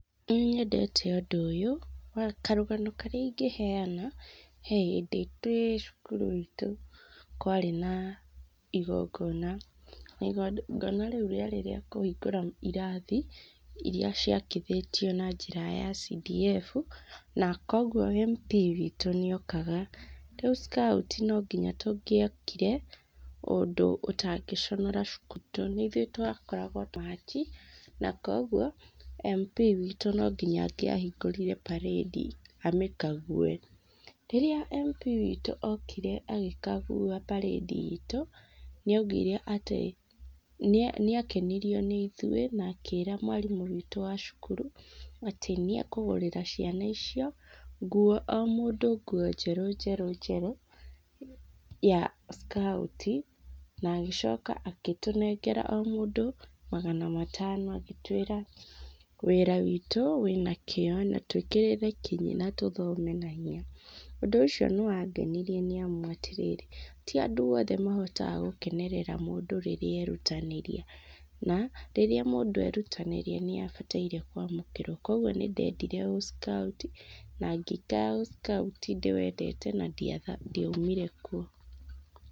Nĩ nyendete ũndũ ũyũ, karũgano karĩa ingĩheana , he hĩndĩ twĩ cukuru itũ kwarĩ na ingongona, na ingongona rĩu rĩarĩ rĩa kũhingũra irathi iria ciakithĩtio na njĩra ya CDF, na kugwo MP witũ nĩ okaga , rĩu scout no nyinga tũngĩokire, ũndũ tũtangĩconara cukuru tondũ ithuĩ nĩ ithuĩ twa koragwo , na kugwo MP witũ no nginya angĩa hingũrire parade amĩkague, rĩrĩa MP witũ okire agĩkagua parade itũ nĩ augire atĩ, nĩ akenerio nĩ ithuĩ na akĩra mwarimũ witũ wa cukuru, atĩ nĩ akũgũrĩra ciana icio nguo, o mũndũ nguo njerũ njerũ ya ckauti , agĩcoka agĩtũnengera o mũndũ magana matano, agĩtwĩra, wĩra witũ wĩna kĩo, na twĩkĩrĩre kinyi na tũthome na hinya, ũndũ ũcio nĩ wangenirie nĩ amu , ti andũ othe mahota gũkenerera mũndũ rĩrĩa arerutanĩria, na rĩrĩa mũndũ arerutanĩria nĩ abataire kwamũkĩrwo , kugwo nĩ ndedire ũckauti na ngĩikara ũckauti ndĩwendete na ndiaumire kuo.